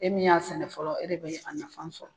E min y'a sɛnɛ fɔlɔ e de be a fana sɔrɔ.